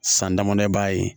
San damadɔ b'a ye